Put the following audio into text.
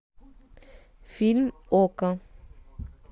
фильм окко